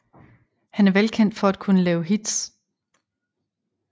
Han er velkendt for at kunne lave hits